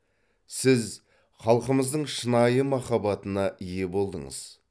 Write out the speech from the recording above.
сіз халқымыздың шынайы махаббатына ие болдыңыз